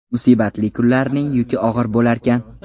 Musibatli kunlarning yuki og‘ir bo‘larkan.